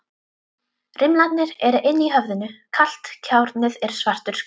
Rimlarnir eru inni í höfðinu, kalt járnið er svartur skuggi.